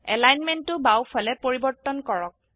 এলাইনমেন্টো বাও ফালে পৰিবৰ্তন কৰক